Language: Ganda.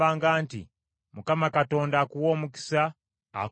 “‘ Mukama Katonda akuwe omukisa, akukuume;